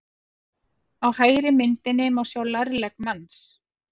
Á hægri myndinni má sjá lærlegg manns.